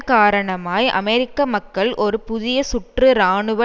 காரணமாய் அமெரிக்க மக்கள் ஒரு புதிய சுற்று இராணுவ